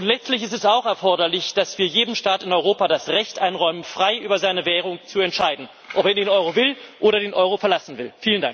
Letztlich ist es auch erforderlich, dass wir jedem Staat in Europa das Recht einräumen, frei über seine Währung zu entscheiden, ob er in den Euro will oder den Euro verlassen will.